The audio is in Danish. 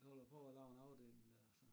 Så vil a prøve at lave en afdækning der og så